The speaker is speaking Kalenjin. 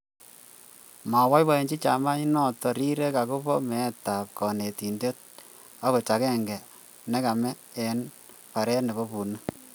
moboibochini chamainoto rirek akobo meetab konetin akot agenge nekame eng baret nebo bunik